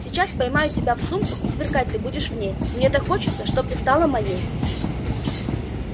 сейчас поймаю тебя в сумку и сверкать ты будешь в ней мне так хочется чтоб стала ты моей